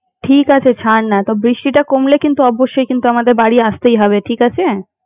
ঠিক আছে ছাড় না তো বৃষ্টিটা কমলে কিন্তু অবশ্যই কিন্তু আমাদের বাড়ি আসতেই হবে ঠিক আছে।